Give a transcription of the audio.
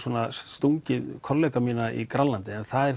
stungið kollega mína í Grænlandi en það er